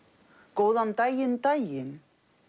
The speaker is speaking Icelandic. góðan daginn daginn